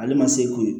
Ale ma se ko ye